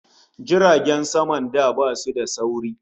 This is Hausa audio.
Jiragen saman da basu da sauri